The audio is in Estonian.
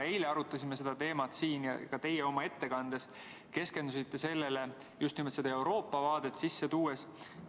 Eile arutasime seda teemat siin ja ka teie oma ettekandes keskendusite sellele just Euroopa vaadet sisse tuues.